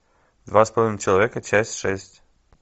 два с половиной человека часть шесть